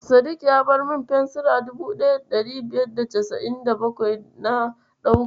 Sadik ya bar min fensira 1597 na ɗauka.